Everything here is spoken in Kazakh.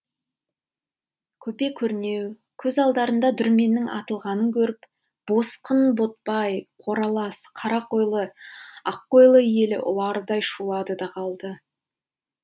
көпе көрнеу көз алдарында дүрменнің атылғанын көріп босқын ботбай қоралас қарақойлы аққойлы елі ұлардай шулады да қалды